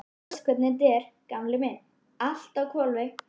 Þú veist hvernig þetta er, gamli minn, allt á hvolfi.